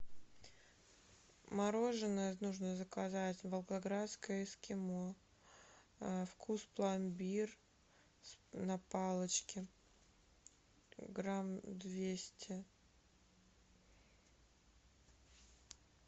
мороженое нужно заказать волгоградское эскимо вкус пломбир на палочке грамм двести